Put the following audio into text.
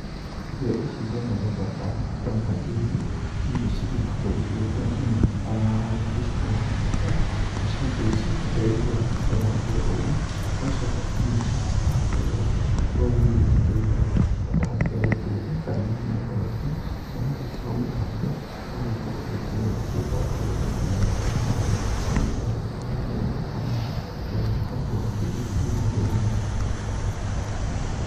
Irio ici cia mũthemba wa matunda ma njĩmu nĩ irio cigĩkoragwo igĩgĩkũra mũno harĩa mũico-inĩ wa mwaka, nacio irio ici, mũndũ agĩtuaga matunda maya mũgũnda-inĩ, ũgacoka ũkamathambia nĩũndũ matigagĩkorwo hihi makĩrĩ na tũtambi o ro tuothe kana mĩrimũ o ro yothe, na warĩkia gũgĩthambia ũgagĩkorwo ũkĩrĩrĩrĩa rĩkĩrĩ o ro ũguo nginya na makoro marĩo, nĩ itunda rĩgĩkoragwo rĩrĩ ithaka mũno, narĩo rĩgĩkoragwo rĩkĩrĩ itune thĩ-inĩ.